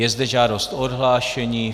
Je zde žádost o odhlášení.